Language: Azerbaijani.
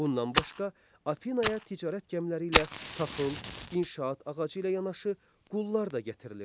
Bundan başqa, Afinaya ticarət gəmiləri ilə taxıl, inşaat ağacı ilə yanaşı qullar da gətirilirdi.